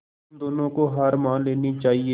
तुम दोनों को हार मान लेनी चाहियें